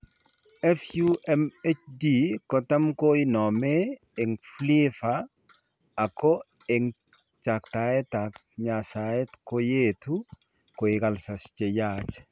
FUMHD kotam koinomee eng' PLEVA ako eng' chaktaeet ak nyaseet koyeetu koik ulcers cheyaach